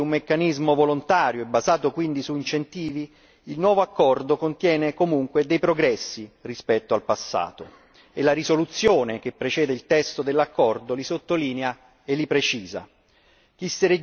Pur nei limiti di un meccanismo volontario, basato su incentivi, il nuovo accordo contiene comunque dei progressi rispetto al passato e la risoluzione che precede il testo dell'accordo li sottolinea e li precisa.